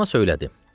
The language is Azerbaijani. Fatma söylədi.